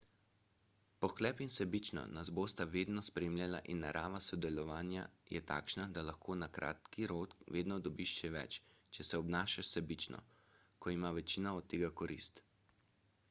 pohlep in sebičnost nas bosta vedno spremljala in narava sodelovanja je takšna da lahko na kratki rok vedno dobiš še več če se obnašaš sebično ko ima večina od tega korist